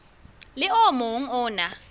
le o mong o na